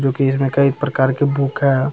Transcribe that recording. जो की इसमें कई प्रकार के बुक है।